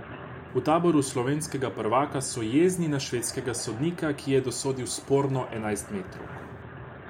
V taboru slovenskega prvaka so jezni na švedskega sodnika, ki je dosodil sporno enajstmetrovko.